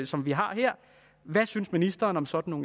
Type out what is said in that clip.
som vi har her hvad synes ministeren om sådan